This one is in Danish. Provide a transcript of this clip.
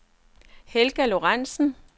Helga Lorentzen